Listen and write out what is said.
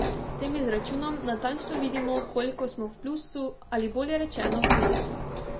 S tem izračunom natančno vidimo, koliko smo v plusu ali, bolje rečeno, v minusu.